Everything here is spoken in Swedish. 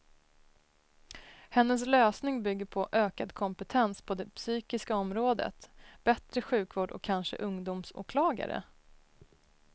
Hennes lösning bygger på ökad kompetens på det psykiska området, bättre sjukvård och kanske ungdomsåklagare.